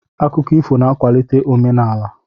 Akụkọ ifo na-akwalite omenaala.